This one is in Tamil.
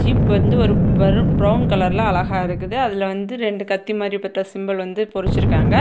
இப்ப வந்து ஒரு பாரு பிரவுன் கலர்ல அழகா இருக்குது அதுல வந்து ரெண்டு கத்தி மாரி பட்ட சிம்பல் வந்து பொறிச்சிருக்காங்க.